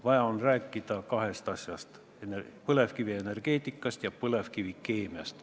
Vaja on rääkida kahest asjast: põlevkivienergeetikast ja põlevkivikeemiast.